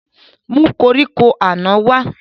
Mú koríko àná wá